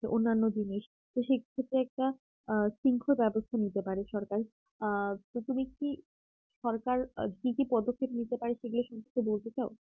অন্যান্য জিনিস তো সেটা একটা সুশৃংখল ব্যবস্থা নিতে পারে সরকারি আ তো তুমি কি সরকার কি কি পদক্ষেপ নিতে পারে সেগুলা সমস্ত বলতে চাও